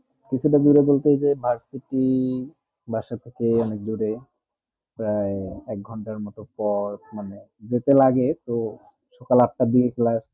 কিছু তা দূরে বলতে যে varsity বাসা থেকে অনেক দূরে প্রায় এক ঘন্টা মতুন পর মানে যেতে লাগে সকাল আট তা দিয়ে class